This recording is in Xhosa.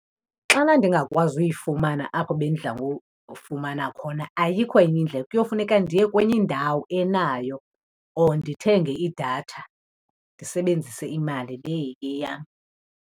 Xana ndingakwazi uyifumana apho bendidla ngoyifumana khona ayikho enye indlela kuyofuneka ndiye kwenye indawo enayo or ndithenge idatha ndisebenzise imali le iyeyam.